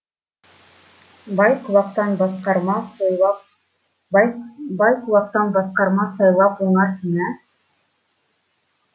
бай құлақтан басқарма сыйлап бай құлақтан басқарма сайлап оңарсың ә